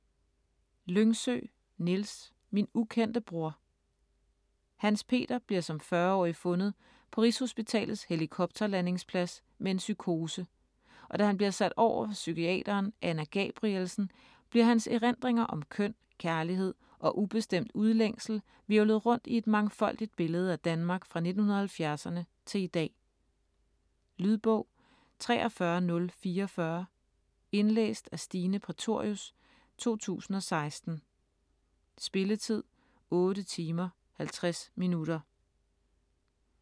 Lyngsø, Niels: Min ukendte bror Hans-Peter bliver som 40-årig fundet på rigshospitalets helikopterlandingsplads med en psykose, og da han bliver sat over for psykiateren Anna Gabrielsen, bliver hans erindringer om køn, kærlighed og ubestemt udlængsel hvirvlet rundt i et mangfoldigt billede af Danmark fra 1970'erne til i dag. Lydbog 43044 Indlæst af Stine Prætorius, 2016. Spilletid: 8 timer, 50 minutter.